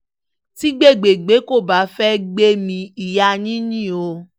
tí gbé gbè gbé kò bá fẹ́ẹ́ gbẹ̀mí ìyá yín yín o